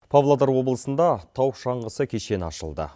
павлодар облысында тау шаңғысы кешені ашылды